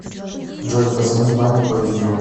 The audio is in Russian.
джой позвони маме по видео